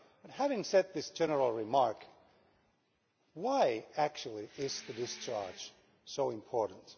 But having said this general remark, why actually is the discharge so important?